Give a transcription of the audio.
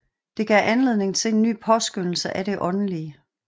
Det gav anledning til en ny påskønnelse af det åndelige